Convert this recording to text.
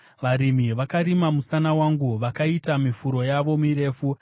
Varimi vakarima musana wangu vakaita miforo yavo mirefu.”